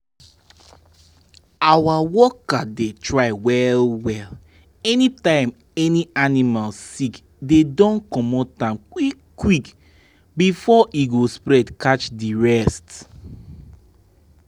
our worker dey try well-well any time any animal sick dey don comot am quick-quick before e go spread catch di rest.